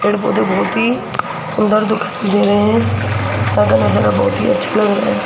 पेड़ पौधे बहुत ही सुंदर दिखाई दे रहे हैं सब नजारा बहुत ही अच्छा लग रहा है।